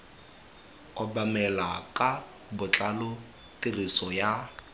obamelwa ka botlalo tiriso ya